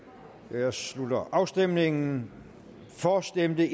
jeg slutter afstemningen for stemte